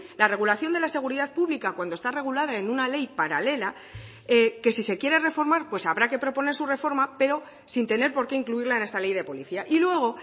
la regulación de la seguridad pública cuando está regulada en una ley paralela que si se quiere reformar habrá que proponer su reforma pero sin tener porque incluirla en esta ley de policía y luego